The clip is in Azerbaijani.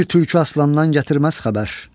Bir tülkü aslandan gətirməz xəbər.